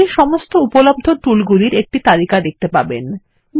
আপনি সমস্ত উপলব্ধ টুল গুলির একটি তালিকা দেখতে পাবেন